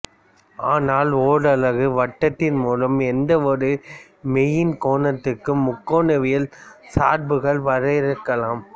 ஆனால் ஓரலகு வட்டத்தின் மூலம் எந்தவொரு மெய்யெண் கோணத்திற்கும் முக்கோணவியல் சார்புகளை வரையறுக்கலாம்